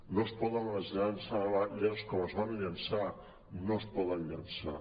no es poden llançar tanques com es van llançar no es poden llançar